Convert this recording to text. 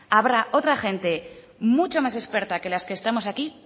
habrá otra gente mucho más experta que las que estamos aquí